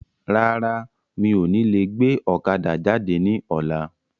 Rárá, mi ò ní lè gbé ọ̀kadà jáde ní ọ̀la.